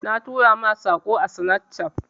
Na tura ma Sako ã Snapchat.